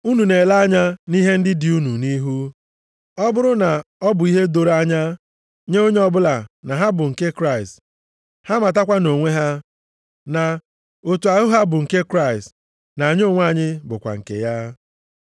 Unu na-ele anya nʼihe ndị dị unu nʼihu. Ọ bụrụ na ọ bụ ihe doro anya nye onye ọbụla na ha bụ nke Kraịst, ha matakwa na onwe ha, na otu ahụ ha bụ nke Kraịst na anyị onwe anyị bụkwa nke ya.